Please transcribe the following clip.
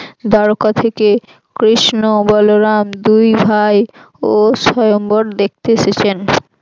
দাড়কা থেকে কৃষ্ণ বলরাম দুই ভাই ও সয়ম্বর দেখতে এসেছেন।